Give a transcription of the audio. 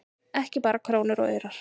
Ekki bara krónur og aurar